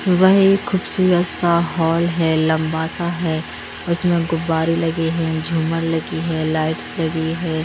वह एक खूबसूरत सा हॉल है लंबा सा है उसमें गुब्बारे लगे है झूमर लगी हैं लाइट्स लगी है।